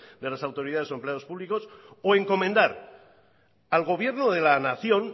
de las autoridades o empleados públicos o encomendar al gobierno de la nación